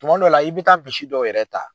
Tuma dɔ la i bɛ taa misi dɔw yɛrɛ ta.